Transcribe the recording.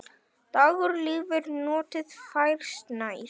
Dagur líður, nóttin færist nær.